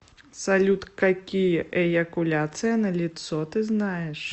салют какие эякуляция на лицо ты знаешь